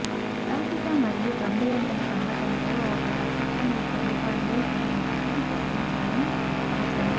లౌకిక మరియు గంభీరమైన సంఘటనలలో ఒక నక్షత్రం యొక్క రూపాన్ని తగిన చిత్రం సృష్టించడం అవసరం